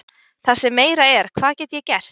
Það sem meira er, hvað get ég gert?